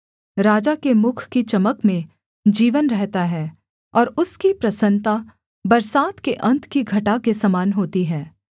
राजा के मुख की चमक में जीवन रहता है और उसकी प्रसन्नता बरसात के अन्त की घटा के समान होती है